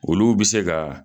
Olu bɛ se ka